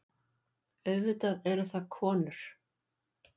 Auðvitað eru það konur.